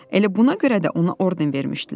Elə buna görə də ona orden vermişdilər.